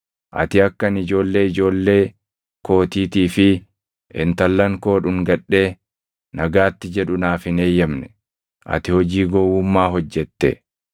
Ati akka ani ijoollee ijoollee kootiitii fi intallan koo dhungadhee nagaatti jedhu naaf hin eeyyamne. Ati hojii gowwummaa hojjete.